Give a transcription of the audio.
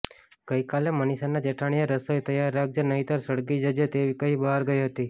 ગઈકાલે મનિષાના જેઠાણીએ રસોઈ તૈયાર રાખજે નહીંતર સળગી જજે તેવી કહીં બહાર ગઈ હતી